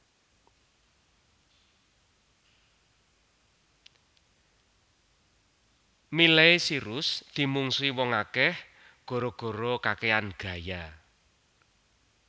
Miley Cyrus dimungsuhi wong akeh gara gara kakean gaya